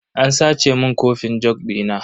An sace mun kofin jug dina.